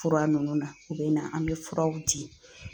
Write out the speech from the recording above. Fura ninnu na u bɛ na an bɛ furaw di